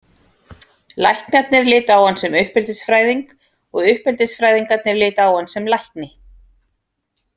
Læknarnir litu á hann sem uppeldisfræðing og uppeldisfræðingarnir litu á hann sem lækni.